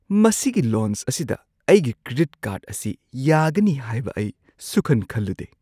ꯃꯁꯤꯒꯤ ꯂꯥꯎꯟꯖ ꯑꯁꯤꯗ ꯑꯩꯒꯤ ꯀ꯭ꯔꯦꯗꯤꯠ ꯀꯥꯔꯗ ꯑꯁꯤ ꯌꯥꯒꯅꯤ ꯍꯥꯏꯕ ꯑꯩ ꯁꯨꯡꯈꯟ ꯈꯜꯂꯨꯗꯦ꯫